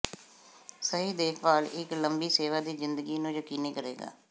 ਸਹੀ ਦੇਖਭਾਲ ਇੱਕ ਲੰਬੀ ਸੇਵਾ ਦੀ ਜ਼ਿੰਦਗੀ ਨੂੰ ਯਕੀਨੀ ਕਰੇਗਾ